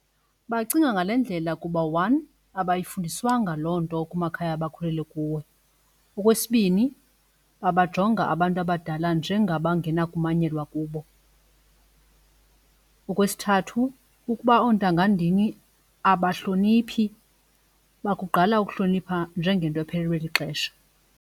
Bacinga ngale ndlela kuba one abayifundiswanga loo nto kumakhaya abakhulele kuwo. Okwesibini babajonga abantu abadala njengabangenakumanyelwa kubo. Okwesithathu ukuba oontanga ndini abahloniphi bakugqala ukuhlonipha njengento ephelelwe lixesha.